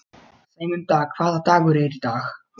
Sæmunda, hvaða dagur er í dag?